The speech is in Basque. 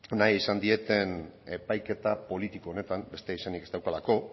nahi izan dieten epaiketa politiko honetan beste izenik ez daukalako